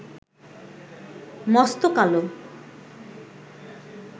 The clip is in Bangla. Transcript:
মস্ত কালো